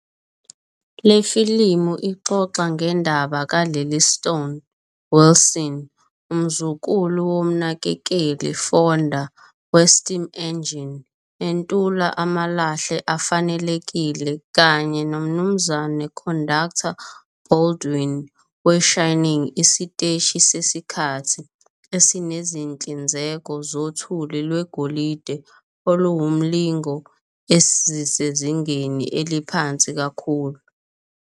Le filimu ixoxa ngendaba ka-Lily Stone, Wilson, umzukulu womnakekeli, Fonda, we-steam engine entula amalahle afanelekile, kanye noMnu. Conductor, Baldwin, we-Shining Isiteshi Sesikhathi, esinezinhlinzeko zothuli lwegolide oluwumlingo ezisezingeni eliphansi kakhulu.